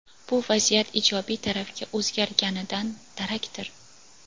bu vaziyat ijobiy tarafga o‘zgarganidan darakdir?.